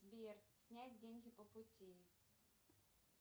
сбер снять деньги по пути